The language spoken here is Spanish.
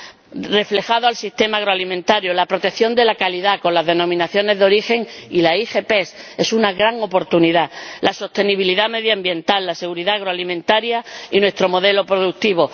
que queden reflejados el sistema agroalimentario, la protección de la calidad con las denominaciones de origen y las IGP —es una gran oportunidad—, la sostenibilidad medioambiental, la seguridad agroalimentaria y nuestro modelo productivo.